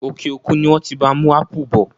Òkè òkun ni wọ́n ti bá wa mú ápù bọ̀.